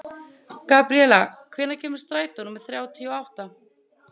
Gabríela, hvenær kemur strætó númer þrjátíu og átta?